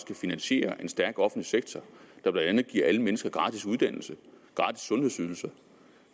kan finansiere en stærk offentlig sektor der blandt andet giver alle mennesker gratis uddannelse gratis sundhedsydelser